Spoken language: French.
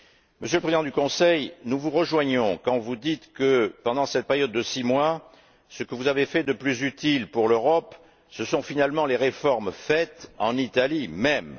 Monsieur le Président du Conseil, nous vous rejoignons quand vous dites, que pendant cette période de six mois, ce que vous avez fait de plus utile pour l'Europe, ce sont finalement les réformes réalisées en Italie même.